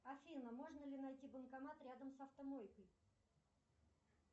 афина можно ли найти банкомат рядом с автомойкой